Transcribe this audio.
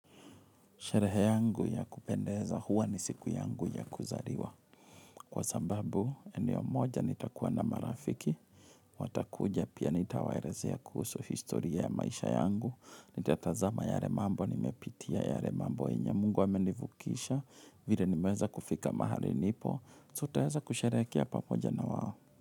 Sherehe yangu ya kupendeza huwa ni siku yangu ya kuzariwa. Kwa sababu, eneo moja nitakuwa na marafiki. Watakuja pia nitawaerezea kuhusu historia ya maisha yangu. Nitatazama yare mambo, nimepitia yare mambo enye. Mungu amenivukisha, vile nimeweza kufika mahali nipo. So tutaweza kusherehekea pamoja na wao.